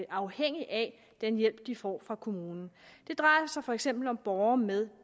afhængige af den hjælp de får fra kommunen det drejer sig for eksempel om borgere med